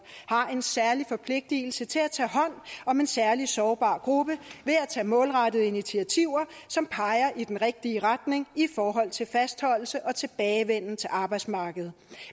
har en særlig forpligtelse til at tage hånd om en særlig sårbar gruppe ved at tage målrettede initiativer som peger i den rigtige retning i forhold til fastholdelse og tilbagevenden til arbejdsmarkedet